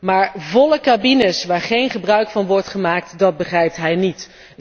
Maar volle cabines, waar geen gebruik van wordt gemaakt, dat begrijpt hij niet.